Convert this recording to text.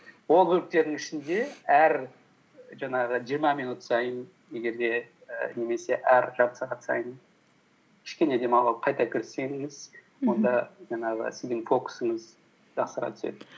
ол бөліктердің ішінде әр жаңағы жиырма минут сайын егер де і немесе әр жарты сағат сайын кішкене қайта кіріссеңіз онда жаңағы сіздің фокусыңыз жақсара түседі